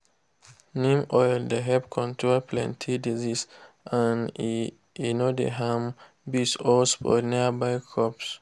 neem oil dey help control plenty disease and e e no dey harm bees or spoil nearby crops.